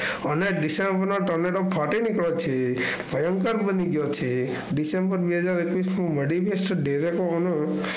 અને ડિસેમ્બરના Tornado ફાટી પછી ભયંકર બની ગયો છે. ડિસેમ્બર બે હજાર એકવીસ